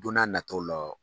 Don n'a natow la.